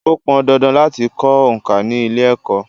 Ó pọn dandan láti kọ òǹkà ni ilé-Ẹ̀kọ́.